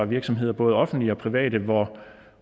virksomheder både offentlige og private